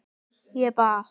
Ég bað